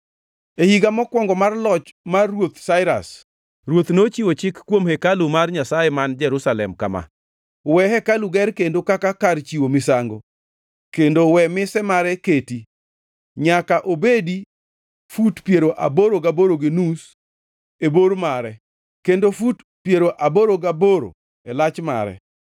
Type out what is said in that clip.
E higa mokwongo mar loch mar Ruoth Sairas, ruoth nochiwo chik kuom hekalu mar Nyasaye man Jerusalem kama. We hekalu ger kendo kaka kar chiwo misango, kendo we mise mare keti. Nyaka obedi fut piero aboro gaboro gi nus e bor mare kendo fut piero aboro gaboro e lach mare,